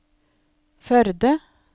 Førde